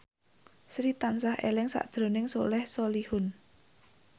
Sri tansah eling sakjroning Soleh Solihun